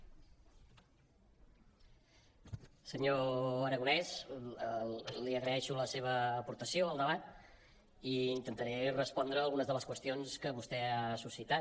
senyor aragonés li agraeixo la seva aportació al debat i intentaré respondre a algunes de les qüestions que vostè ha suscitat